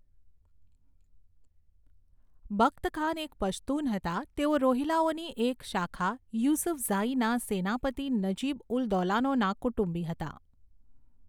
બખ્તખાન એક પશ્તુન હતા તેઓ રોહિલાઓની એક શાખા યુસફઝાઈના સેનાપતિ નજીબ ઉલ દૌલાનોના કુટુંબી હતા.